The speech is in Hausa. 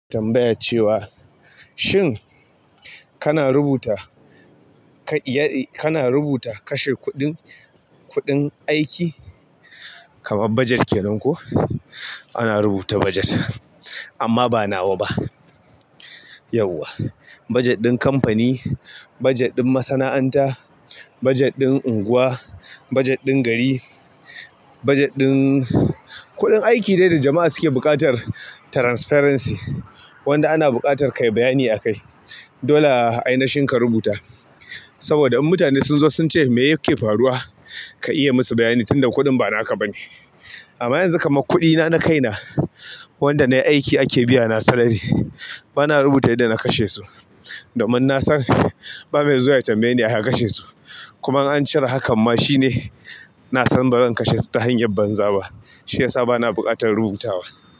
Tambaya cewa shin kana rubuta kana rubuta kashe kuɗin kuɗin aiki kamar bajet kenan ko? Ana rubuta bajet amma ba nawa ba. Yauwa, bajet ɗin kamfani, bajet ɗin masana'anta, bajet ɗin unguwa, bajet ɗin gari, bajet ɗin. Kuɗin aiki dai da jama'a suke buƙatar transparency, wanda ana buƙatar ka yi bayani akai. Dole a ina shin ka rubuta saboda in mutane sun zo sun ce me yake faruwa, ka iya musu bayani tunda kuɗin ba naka ba ne. Amma yanzu kamar kuɗi na na kaina wanda nayi aiki ake biyana salary bana rubuta yadda na kashe su domin nasan ba mai zuwa ya tambaye ni a ya kashe su. Kuma an cire hakan ma shine na san bazan kashe su ta hanyar banza ba shiyasa bana buƙatar rubutawa.